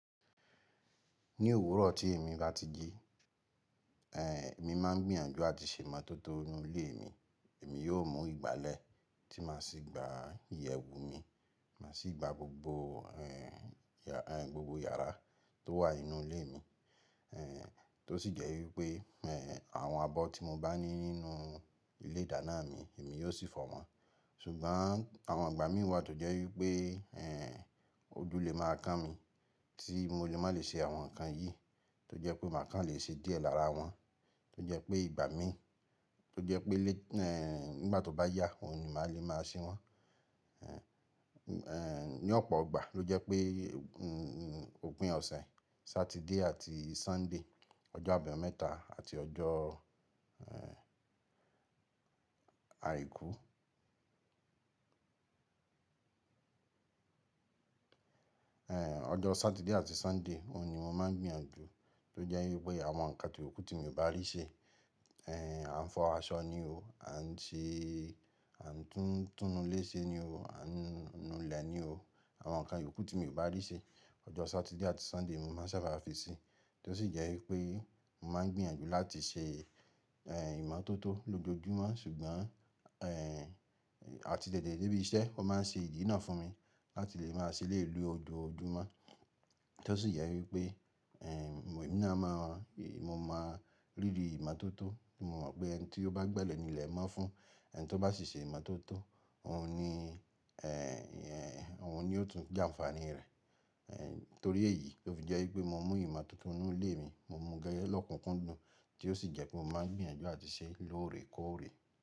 Ní òwúrọ̀ tí èmi bá ti jí, eh emi máa ń gbìyànjú àti ṣe ìmọ́tótó ínú ilé mi. Èmi yóò mú ìgbálẹ̀ tí màá sì gba ìyẹ̀wù mi, màá sì gba gbogbo eh yà, eh gbogbo yàrá tó wà nínú ilé mi. Eh tó sì jẹ́ wípé eh àwọn abọ́ tí mo bá ní nínú ilé ìdáná mi èmi yóò sì fọ wọ́n. Ṣùgbọ́n àwọn ìgbà mìí wà tó jẹ́ wípé eh ojú le máa kán mi tí mo lè má lè ṣe àwọn nǹkan yìí tó jẹ́ pé màá kàn lè ṣe díẹ̀ lára wọn, tó jẹ́ pé ìgbà mi, tó jẹ́ pé lé, eh nígbà tó bá yá òun ni màá lè máa ṣe wọ́n. Eh ní ọ̀pọ̀ọ gbà ló jẹ́ pé hun un òpin ọ̀sẹ̀ Satide àti Sunday, ọjọ́ àbámẹ́ta àti ọjọ́ eh àìkú. Eh ọjọ́ Saturday àti Sunday òun ni mo máa ń gbìyànjú tó jẹ́ wípé àwọn nǹkan ti yòókù tí mio bá rí ṣe, eh à ń fọ aṣọ ni o, à ń ṣe, à ń tún túnú ilé ṣe ni o, à ń nu ilẹ̀ ni o. Àwọn nǹkan yòókù tí mo bá rí ṣe, ọjọ́ Satide àti Sunday ni mo máa ń saba fi sí i. Tó sì jẹ́ wípé mo máa ń gbìyànjú láti ṣe eh ìmọ́tótó lójoojúmọ́ ṣùgbọ́n eh àti tètè dé ibi iṣẹ́ o máa ń ṣe ìdí iná fún mi láti lè máa ṣe eléyii ni ojoojúmọ́. Tó sì jẹ́ wípé eh èmi náà mọ, mo mọ rírí ìmọ́tótó, ti mo mọ̀ pé ẹni tí ó bá gbẹ́lẹ̀ ní ilẹ̀ mọ́ fún ẹni tí ó bá ṣì ṣe ìmọ́tótó òun ni eh òun ni ó tún jẹ àǹfààní rẹ̀. Eh torí èyí ló fi jẹ́ wípé mo mú ìmọ́tótó ínú ilé mi, mo mú gẹ́gẹ́ lọ́kùnkúndùn tí ó sì jẹ́ pé mo máa ń gbìyànjú àti ṣe lóòrè koòrè.